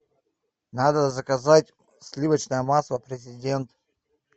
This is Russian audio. надо заказать сливочное масло президент